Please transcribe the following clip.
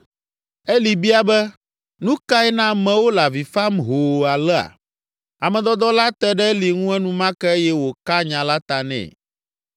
Eli bia be, “Nu kae na amewo le avi fam hoo alea?” Ame dɔdɔ la te ɖe Eli ŋu enumake eye wòka nya la ta nɛ.